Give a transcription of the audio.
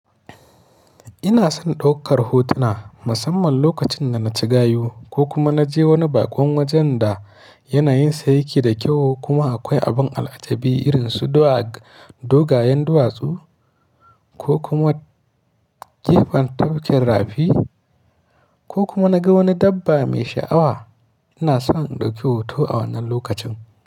Ina son ɗaukar hotuna musamman lokacin da na ci gayo ko kuma na je wani bakon wajen da yana yin sayanki da kyau kuma akwai abin al'ajabi irin su dogayen duwatsu ko kuma gefen tafkin rafi ko kuma na ga wani dabba mai sha'awa. Ina son ɗauki hoto a wannan lokacin.